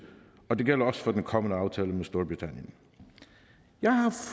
og det gælder også for den kommende aftale med storbritannien jeg har